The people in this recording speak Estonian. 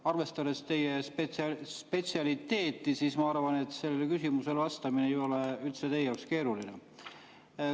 Aga arvestades teie spetsialiteeti, ma arvan, et sellele küsimusele vastamine ei ole teie jaoks üldse keeruline.